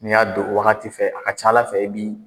N' y'a don wagati fɛ, a ka ca Ala fɛ i bi